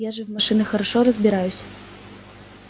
я же в машинах хорошо разбираюсь